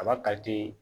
A b'a